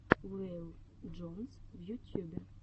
вэйл джонс в ютюбе